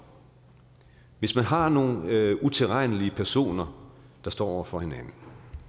hvis man har nogle utilregnelige personer der står over for hinanden